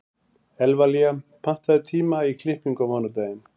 Evlalía, pantaðu tíma í klippingu á mánudaginn.